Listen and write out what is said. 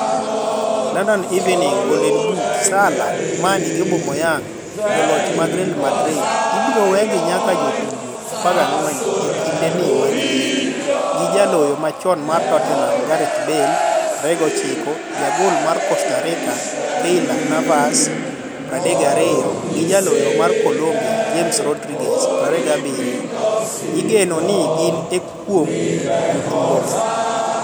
(London Evening Standard) Golden Boot: Salah, Mane gi Aubameyang joloch mag Real Madrid ibiro wegi nyaka jotugo 14 e kinde ni mag liet, gi jaloyo machon mar Tottenham Gareth Bale, 29,jagol ma Costa Rica Keylor Navas, 32, gi jaloyo ma Colombia James Rodriguez, 27, igeno ni gin e kuom jotugo go.